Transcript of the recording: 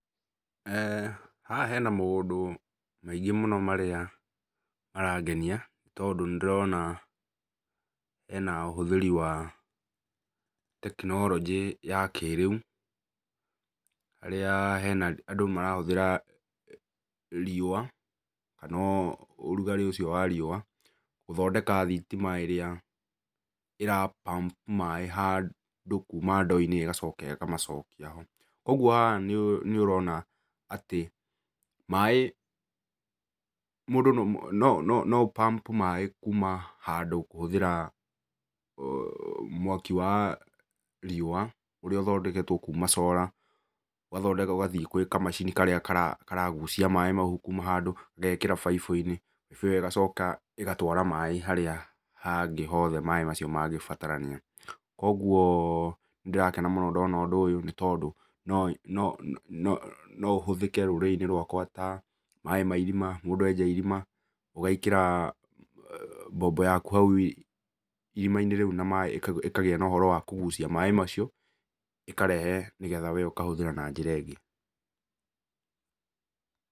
Haha hena maũndũ maingĩ mũno marĩa marangenia, tondũ nĩndĩrona hena ũhũthĩri wa tekinoronjĩ ya kĩrĩũ, harĩa hena andũ marahũthĩra riũa kana rugaĩ ũcio wa riũa gũtondeka thitima ĩrĩa irapump maĩ handũ kuma ndoo-inĩ ĩgacoka ĩkamacokia ho. Kuoguo haha nĩũrona atĩ maĩ mũndũ, no no no ũpump kuma handũ kũhũthĩra mwaki wa riũa ũrĩa ũthondeketwo kuma solar ũgathondekwo ũgathiĩ kwĩ kamacini karĩa karagucia maĩ mau kuma handũ, gagekĩra baibũ-inĩ. Baibũ ĩyo ĩgacoka ĩgatwara maĩ harĩa hangĩ hothe maĩ macio mangĩbatarania. Kuoguo nĩndĩrakena mũno ndona ũyũ, nĩtondũ no no no no ũhũthĩke rũrĩrĩ-inĩ rwakwa ta maĩ ma irima. Mũndũ enja irima, ũgekĩra mbombo yaku hau irima-inĩ rĩu na maĩ ĩkagĩa na ũhoro wa kũgucia maĩ macio, ĩkarehe nĩgetha wee ũkahũthĩra na njĩra ĩngĩ.